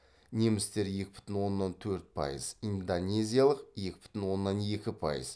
немістер екі бүтін оннан төрт пайыз индонезиялық екі бүтін оннан екі пайыз